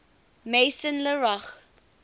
maison la roche